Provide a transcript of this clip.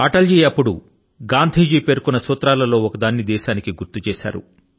అటల్ జీ అప్పుడు గాంధీ గారు పేర్కొన్న సూత్రాలలో ఒక సూత్రాన్ని దేశాని కి గుర్తు చేశారు